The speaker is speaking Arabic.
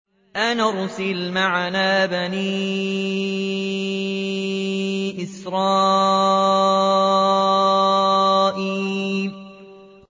أَنْ أَرْسِلْ مَعَنَا بَنِي إِسْرَائِيلَ